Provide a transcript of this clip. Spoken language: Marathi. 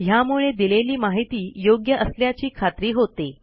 ह्यामुळे दिलेली माहिती योग्य असल्याची खात्री होते